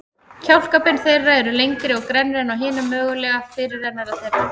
Kjálkabein þeirra eru lengri og grennri en á hinum mögulega fyrirrennara þeirra.